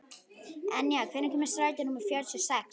Enja, hvenær kemur strætó númer fjörutíu og sex?